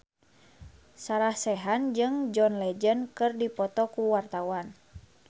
Sarah Sechan jeung John Legend keur dipoto ku wartawan